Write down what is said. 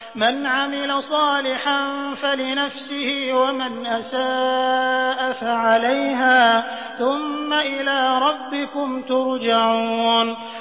مَنْ عَمِلَ صَالِحًا فَلِنَفْسِهِ ۖ وَمَنْ أَسَاءَ فَعَلَيْهَا ۖ ثُمَّ إِلَىٰ رَبِّكُمْ تُرْجَعُونَ